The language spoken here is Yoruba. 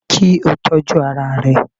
Kí o tọ́jú ara ẹ